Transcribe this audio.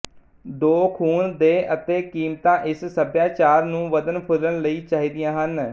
ਦੋ ਖੂਨ ਦੇਹ ਅਤੇ ਕੀਮਤਾਂ ਇਸ ਸੱਭਿਆਚਾਰ ਨੂੰ ਵੱਧਣ ਫੁੱਲਣ ਲਈ ਚਾਹੀਦੀਆਂ ਹਨ